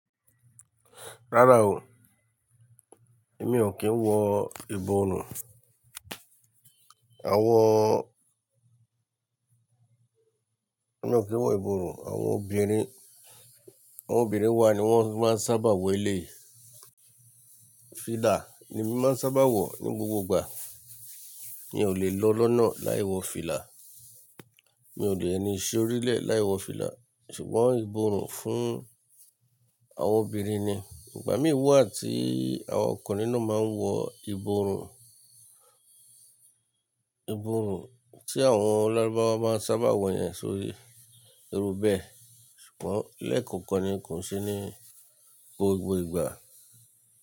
Rárá o, èmi ò kí ń wọ ìborùn. Àwọn, èmi ò kí ń wọ ìborùn. Àwọn obìnrin, àwọn obìnrin wa ni wọ́n máa ń sábà wọ eleyii. Fìlà ni mí máa ń sábà wọ ní gbogbo ìgbà. N ò lè lọ lọ́nà láì wọ fìlà. Mi ò dè ní ṣi orílẹ̀ láì wọ fìlà. Ṣùgbọ́n ìborùn fún àwọn obìnrin ni. Ìgbà mí wà tí àwọn ọkùnrin náà máa ń wọ ìborùn, ìborùn tí àwọn lárúbáwá máa ń sábà wọ yẹn sórí irúbẹ̀ẹ́. Ṣùgbọ́n lẹ́kankan ni kò ṣe ní gbogbo ìgbà.